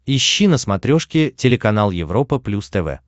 ищи на смотрешке телеканал европа плюс тв